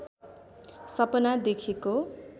सपना देखेको